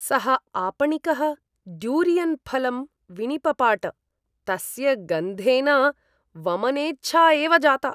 सः आपणिकः ड्यूरियन् फलम् विनिपपाट, तस्य गन्धेन वमनेच्छा एव जाता।